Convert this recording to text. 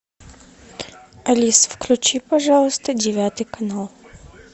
алиса включи пожалуйста девятый канал